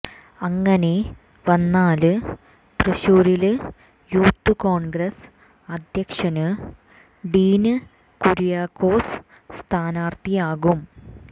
അങ്ങനെ വന്നാല് തൃശൂരില് യൂത്ത് കോണ്ഗ്രസ് അധ്യക്ഷന് ഡീന് കുര്യാക്കോസ് സ്ഥാനാര്ഥിയാകും